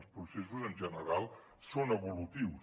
els processos en general són evolutius